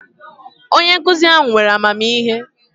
Onye nkuzi ahu were amamihe